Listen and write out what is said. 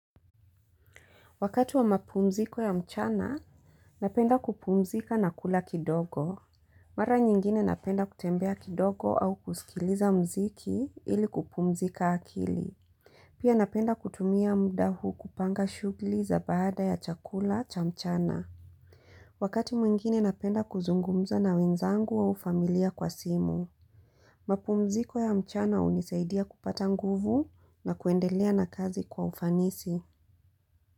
Wakati wa mapumziko ya mchana, napenda kupumzika na kula kidogo. Mara nyingine napenda kutembea kidogo au kusikiliza mziki ili kupumzika akili. Pia napenda kutumia muda huu kupanga shughuli za baada ya chakula cha mchana. Wakati mwingine napenda kuzungumza na wenzangu au ufamilia kwa simu. Mapumziko ya mchana unisaidia kupata nguvu na kuendelea na kazi kwa ufanisi.